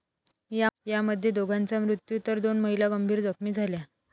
यामध्ये दोघांचा मृत्यू तर दोन महिला गंभीर जखमी झाल्या.